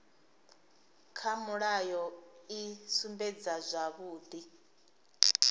kha mulayo i sumbedza zwavhudi